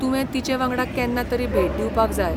तुवें तिचे वांगडा केन्ना तरी भेट दिवपाक जाय.